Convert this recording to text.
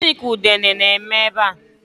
Gịnị ka udene a na-eme ebea?